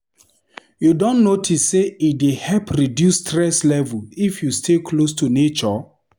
You don notice sey e dey help reduce stress level if you stay close to nature?